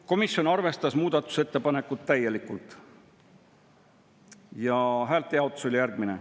Komisjon arvestas muudatusettepanekut täielikult ja häälte jaotus oli järgmine.